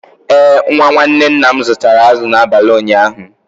Ee, nwa nwanne nna m zụtara azụ̀ n’abalị ụnyaahụ.